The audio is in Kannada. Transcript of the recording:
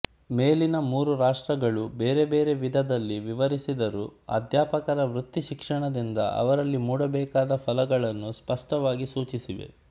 ಮೇಲಿನ ಮೂರು ರಾಷ್ಟ್ರಗಳೂ ಬೇರೆ ಬೇರೆ ವಿಧದಲ್ಲಿ ವಿವರಿಸಿದ್ದರೂ ಅಧ್ಯಾಪಕರ ವೃತ್ತಿಶಿಕ್ಷಣದಿಂದ ಅವರಲ್ಲಿ ಮೂಡಬೇಕಾದ ಫಲಗಳನ್ನು ಸ್ಪಷ್ಟವಾಗಿ ಸೂಚಿಸಿವೆ